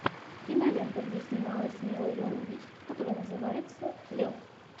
кинолента где снималась мила йовович которая называется лед